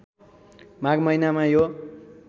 माघ महिनामा यो